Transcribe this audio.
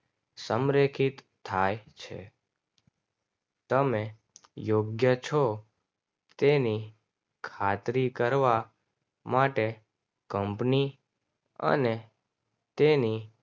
સમરેખિત થાય છે. તમે યોગ્ય છો. તેણે ખાતરી કરવા માટે કંપની અને તેની